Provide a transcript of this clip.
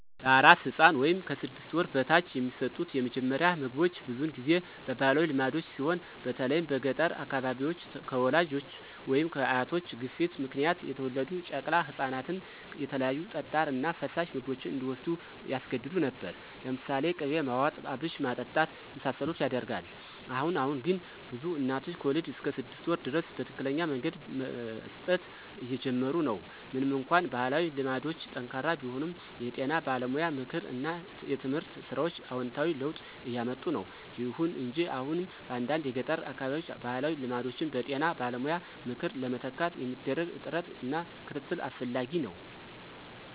ለአራስ ሕፃን (ከ 6 ወር በታች) የሚሰጡት የመጀመሪያ ምግቦች ብዙውን ጊዜ በባህላዊ ልማዶች ሲሆን በተለይም በገጠር አካባቢዎች፣ ከወላጆች ወይም ከአያቶች ግፊት ምክንያት የተወለዱ ጨቅላ ህፃናትን የተለያዩ ጠጣር እና ፈሳሽ ምግቦች እንዲዎስዱ ያስገድዱ ነበር። ለምሳሌ ቅቤ ማዋጥ፣ አብሽ ማጠጣት የመሳሰሉት ይደረጋል። አሁን አሁን ግን ብዙ እናቶች ከወሊድ እስከ 6 ወር ድረስ በትክክለኛ መንገድ መስጠት እየጀመሩ ነው። ምንም እንኳን ባህላዊ ልማዶች ጠንካራ ቢሆኑም፣ የጤና ባለሙያ ምክር እና የትምህርት ሥራዎች አዎንታዊ ለውጥ እያምጡ ነው። ይሁን እንጂ አሁንም በአንዳንድ የገጠር አካባቢዎች ባህላዊ ልማዶችን በጤና ባለሙያ ምክር ለመተካት የሚደረግ ጥረት እና ክትትል አስፈላጊ ነው።